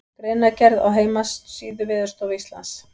Greinargerð á heimasíðu Veðurstofu Íslands.